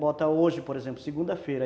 Bota hoje, por exemplo, segunda-feira.